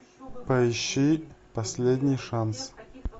поищи последний шанс